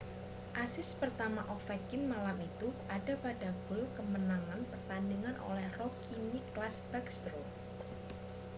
asis pertama ovechkin malam itu ada pada gol kemenangan pertandingan oleh rookie nicklas backstrom